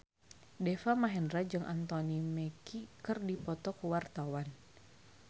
Deva Mahendra jeung Anthony Mackie keur dipoto ku wartawan